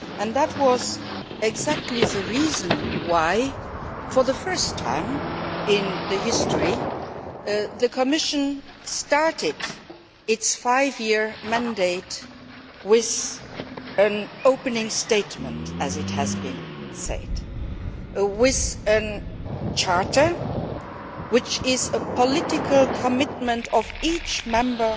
That was exactly the reason why, for the first time in its history, the Commission started its five year mandate with an opening statement, as it has been called, with a Charter which is a political commitment of each member